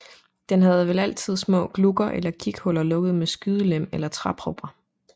Den havde vel altid haft små glugger eller kighuller lukkede med skydelem eller træpropper